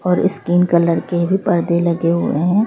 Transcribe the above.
और skin colour के भी पर्दे लगे हुए हैं।